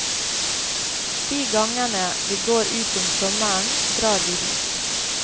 De gangene vi går ut om sommeren, drar vi hit.